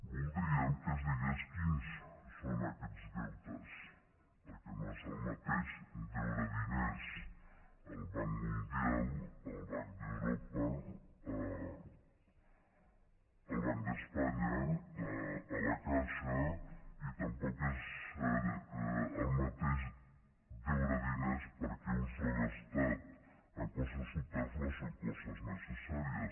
voldríem que es digués quins són aquests deutes perquè no és el mateix deure diners al banc mundial al banc d’europa al banc d’espanya a la caixa i tampoc és el mateix deure diners perquè un s’ho ha gastat en coses supèrflues o en coses necessàries